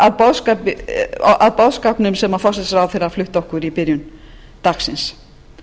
og ég sé það af boðskapnum sem forsætisráðherra flutti okkur í byrjun dagsins